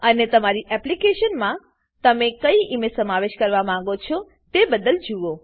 અને તમારી એપ્લીકેશનમાં તમે કઈ ઈમેજ સમાવેશ કરવા માંગો છો તે બદ્દલ જુઓ